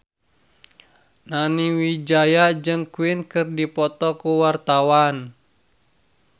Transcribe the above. Nani Wijaya jeung Queen keur dipoto ku wartawan